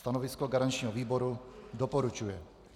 Stanovisko garančního výboru: doporučuje.